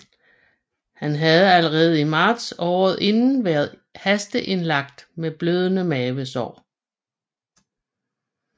Han havde allerede i marts året inden været hasteindlagt med blødende mavesår